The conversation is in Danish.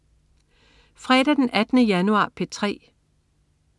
Fredag den 18. januar - P3: